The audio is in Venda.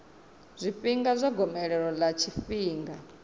zwifhinga zwa gomelelo ḽa tshifhinga